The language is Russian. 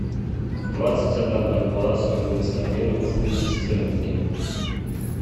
двадцать одна бальбоа стоимость обмена в фунты стерлинги